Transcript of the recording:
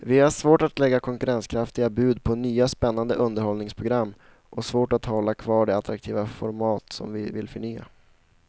Vi har svårt att lägga konkurrenskraftiga bud på nya spännande underhållningsprogram och svårt att hålla kvar de attraktiva format som vi vill förnya.